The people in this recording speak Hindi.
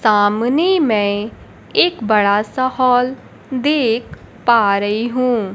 सामने मै एक बड़ा सा हॉल देख पा रही हूं।